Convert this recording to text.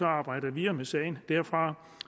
arbejde videre med sagen derfra